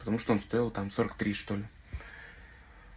потому что он стоил там сорок три что-ли